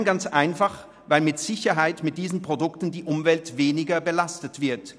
Nein, ich tue es ganz einfach, weil mit Sicherheit mit diesen Produkten die Umwelt weniger belastet wird.